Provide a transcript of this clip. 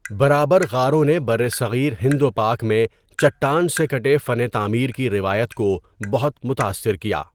برابر غاروں نے برصغیر ہند و پاک میں چٹان سے کٹے فن تعمیر کی روایت کو بہت متاثر کیا۔